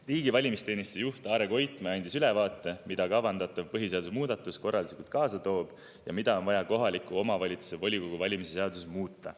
Riigi valimisteenistuse juht Arne Koitmäe andis ülevaate, mida kavandatav põhiseaduse muudatus korralduslikult kaasa toob ja mida on vaja kohaliku omavalitsuse volikogu valimise seaduses muuta.